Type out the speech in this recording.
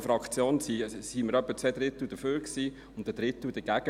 In der Fraktion waren etwa zwei Drittel dafür und ein Drittel dagegen.